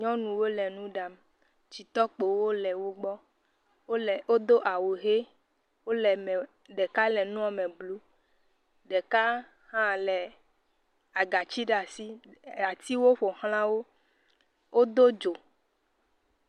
Nyɔnuwo le nu ɖam. Tɔkpowo le wogbɔ. Wole, wodo awu ʋe. wole me, ɖeka le nua me blu. Ɖeka hã le agatsi ɖe asi. Atiwo ƒo ʋlã wo. Wodo dzo.